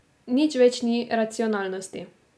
Nič več ni racionalnosti.